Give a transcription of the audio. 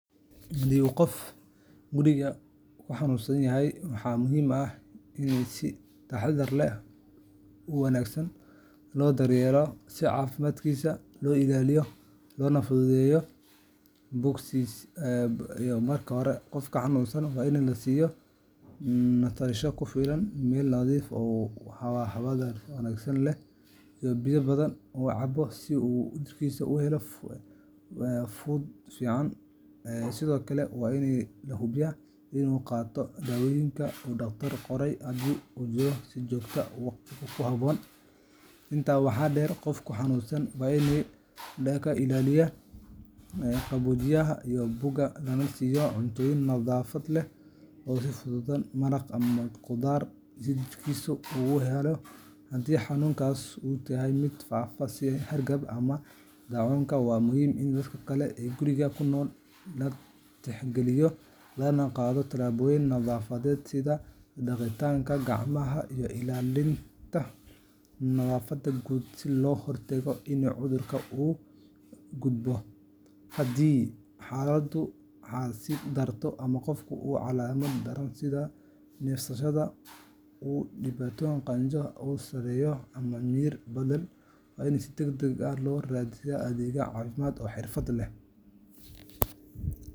Haddii qof guriga ku xanuunsan yahay, waxaa muhiim ah in si taxaddar leh oo wanaagsan loo daryeelo si caafimaadkiisa loo ilaaliyo loona fududeeyo bogsashadiisa. Marka hore, qofka xanuunsan waa in la siiyo nasasho ku filan, meel nadiif ah oo hawada wanaagsan leh, iyo biyo badan oo uu cabo si uu jidhkiisu u helo fuuq ku filan. Sidoo kale, waa in la hubiyaa in uu qaato daawooyinka uu dhakhtarku qoray, haddii uu jiro, si joogto ah oo waqti ku habboon. Intaa waxaa dheer, qofka xanuunsan waa in laga ilaaliyo qabowga iyo buuqa, lana siiyo cunto nafaqo leh oo fudud sida maraq ama khudaar si jidhkiisa uu u helo tamar. Haddii xanuunku yahay mid faafa sida hargabka ama daacuunka, waa muhiim in dadka kale ee guriga ku nool la tixgeliyo, lana qaato tallaabooyin nadaafadeed sida dhaqida gacmaha iyo ilaalinta nadaafadda guud si looga hortago in cudurka u gudbo. Haddii xaaladdu ka sii darto ama qofku qabo calaamado daran sida neefsashada oo dhibtoota, qandho aad u sarreysa, ama miyir beel, waa in si degdeg ah loo raadsadaa adeeg caafimaad oo xirfad leh.